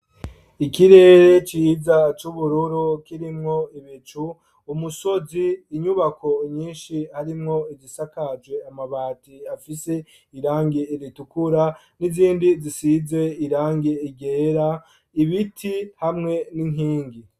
Ikirere ciza c'ubururu kirimwo ibicu ,umusozi, inyubako nyinshi harimwo izisakaje amabati afise irangi ritukura n'izindi zisize irangi ryera, ibiti hamwe n'inkingi.